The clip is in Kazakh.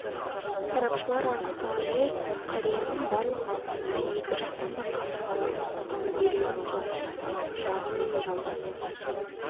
сарапшылар анықтағандай қарияның барлық саусақтары екі жақтан да қабырғалары сынған бүйрегін соғып тастаған жағы мен жамбас